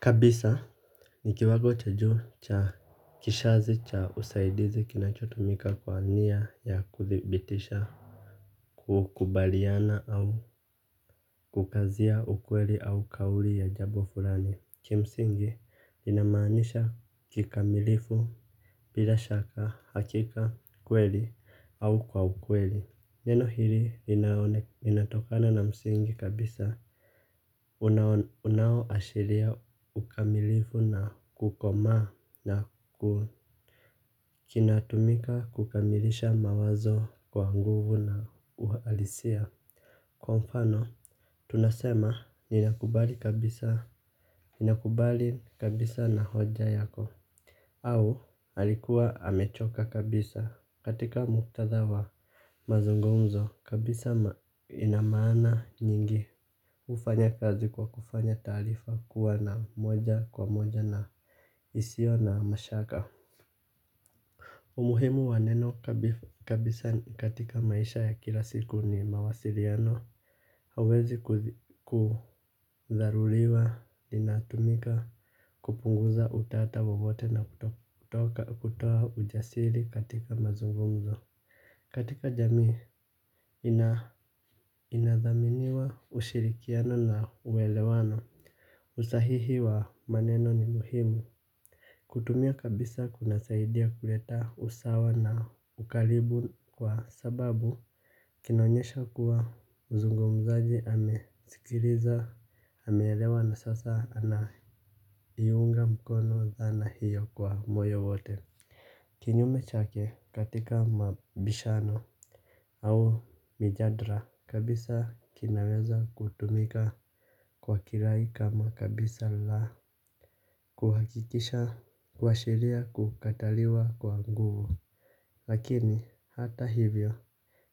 Kabisa ni kiwago cha juu cha kishazi cha usaidizi kinachotumika kwa niya ya kudhibitisha. Kukubaliana au kukazia ukweli au kauli ya jabo fulani. Kimsingi linamanisha kikamilifu bila shaka hakika kweli au kwa ukweli. Neno hili linatokana na msingi kabisa. Unaoashiria ukamilifu na kukomaa na kinatumika kukamilisha mawazo kwa nguvu na uhalisia. Kwa mfano tunasema ninakubali kabisa na hoja yako. Au alikuwa amechoka kabisa katika muktadha wa mazungumzo kabisa ina maana nyingi. Ufanya kazi kwa kufanya taarifa kuwa na moja kwa moja na isio na mashaka. Umuhimu wa neno kabisa katika maisha ya kila siku ni mawasiriano. Hauwezi kudharuliwa, linatumika, kupunguza utata wowote na kutoa ujasiri katika mazungumzo. Katika jamii inadhaminiwa, ushirikiano na uwelewano. Usahihi wa maneno ni muhimu. Kutumia kabisa kunasaidia kuleta usawa na ukaribu kwa sababu kinaonyesha kuwa mzungumzaji amesikiriza ameelewa na sasa anaiunga mkono dhana hiyo kwa moyo wote. Kinyume chake katika mabishano au mijadra kabisa kinaweza kutumika kwa kirai kama kabisa la Kuhakikisha Kuashiria kukataliwa kwa nguvu. Lakini hata hivyo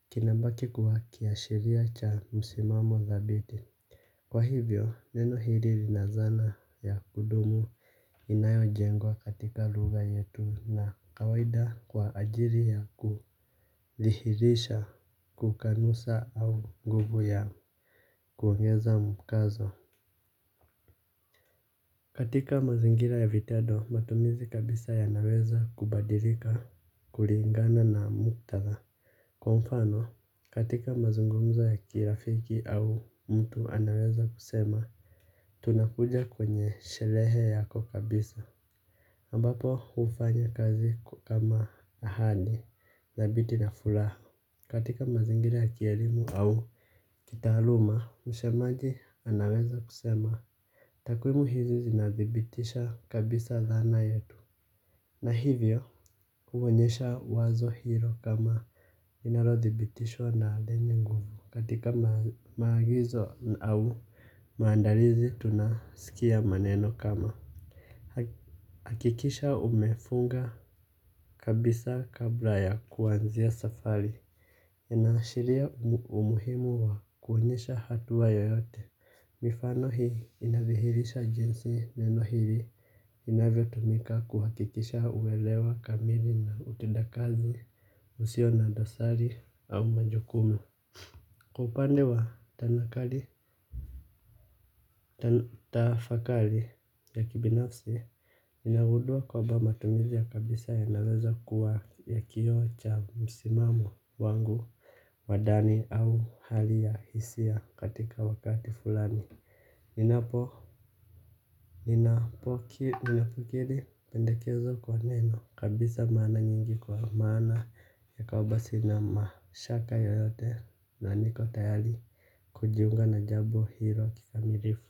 kinabaki kuwa kiashiria cha msimamo dhabiti. Kwa hivyo, neno hili lina zana ya kudumu. Inayojengwa katika lugha yetu na kawaida kwa ajiri ya kulihirisha. Kukanusa au nguvu ya kuongeza mkazo. Katika mazingira ya vitedo matumizi kabisa yanaweza kubadirika kuringana na muktadha. Kwa mfano katika mazungumzo ya kirafiki au mtu anaweza kusema tunakuja kwenye sherehe yako kabisa ambapo ufanya kazi kama ahadi dhabiti na fulaha. Katika mazingira ya kielimu au kitaaluma msemaji anaweza kusema takwimu hizi zinadhibitisha kabisa dhana yetu. Na hivyo, huonyesha wazo hiro kama inarodhibitishwa na deni nguvu katika maagizo au maandalizi tunasikia maneno kama. Akikisha umefunga kabisa kabla ya kuanzia safari. Inaashiria umuhimu wa kuonyesha hatua yoyote. Mifano hii inavihirisha jinsi leno hili inavyotumika kuhakikisha uelewa kamili na utendakazi usio na dosari au majukumu. Kwa upande wa tanakali tafakali ya kibinafsi ninagudua kwamba matumizi ya kabisa yanaweza kuwa ya kioo cha msimamo wangu. Wa dani au hali ya hisia katika wakati fulani. Ninapokiri pendekezo kwa neno kabisa mana nyingi kwa maana yakawa basi na mashaka yoyote. Na niko tayali kujiunga na jabo hilo kikamirifu.